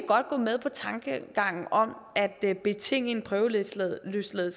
godt gå med på tankegangen om at at betinge en prøveløsladelse af